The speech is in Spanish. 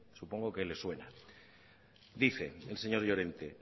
supongo que les suena dice el señor llorente